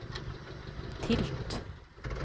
tilt